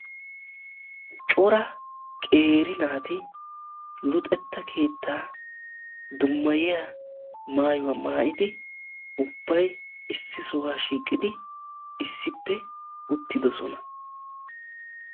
Cora qeeri naati luxetta keettaa dummayiya maayuwa maayidi ubbay issi sohuwa shiiqidi issippe uttidosona.